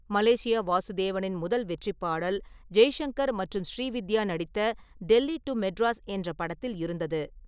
Malaysia வாசுதேவனின் முதல் வெற்றிப் பாடல், ஜெய்சங்கர் மற்றும் ஸ்ரீவித்யா நடித்த டெல்லி டு மெட்ராஸ் என்ற படத்தில் இருந்தது.